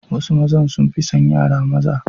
Wasu mazan sun fi son yara maza.